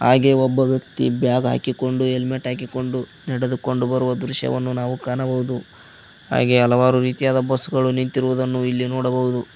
ಹಾಗೆ ಒಬ್ಬ ವ್ಯಕ್ತಿ ಬ್ಯಾಗ್ ಹಾಕಿಕೊಂಡು ಹೆಲ್ಮೆಟ್ ಹಾಕಿಕೊಂಡು ನಡೆದುಕೊಂಡು ಬರುವ ದೃಶ್ಯವನ್ನು ನಾವು ಕಾಣಬಹುದು ಹಾಗೆ ಹಲವಾರು ರೀತಿಯಾದ ಬಸ್ ಗಳು ನಿಂತಿರುವುದನ್ನು ಇಲ್ಲಿ ನೋಡಬಹುದು.